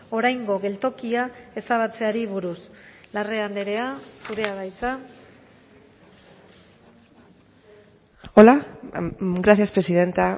oraingo geltokia ezabatzeari buruz larrea andrea zurea da hitza hola gracias presidenta